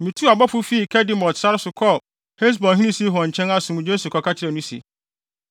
Mituu abɔfo fii Kedemot sare so kɔɔ Hesbonhene Sihon nkyɛn asomdwoe so kɔka kyerɛɛ no se,